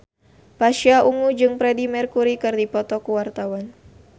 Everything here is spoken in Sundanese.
Pasha Ungu jeung Freedie Mercury keur dipoto ku wartawan